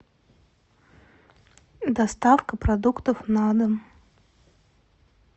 доставка продуктов на дом